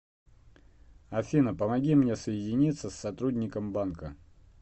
афина помоги мне соединиться с сотрудником банка